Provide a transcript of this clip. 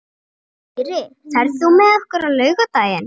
Dýri, ferð þú með okkur á laugardaginn?